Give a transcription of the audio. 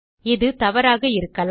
இது தவறாக இருக்கலாம்